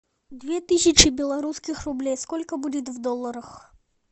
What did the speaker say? две тысячи белорусских рублей сколько будет в долларах